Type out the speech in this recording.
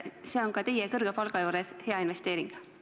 See on ka teie kõrge palga juures hea investeering.